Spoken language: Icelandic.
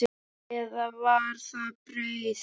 Eða var það brauð?